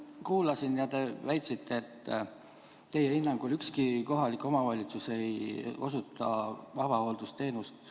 Kuulasin ja te väitsite, et teie hinnangul ei osuta ükski kohalik omavalitsus avahooldusteenust.